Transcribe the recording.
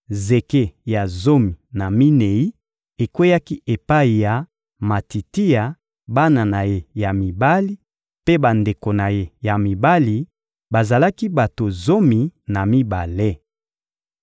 Zeke ya zomi na minei ekweyaki epai ya Matitia, bana na ye ya mibali mpe bandeko na ye ya mibali: bazalaki bato zomi na mibale.